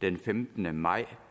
den femtende maj